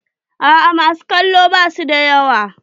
A'a ma su kallo basu da yawa.